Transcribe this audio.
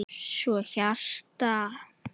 Svo hjarta.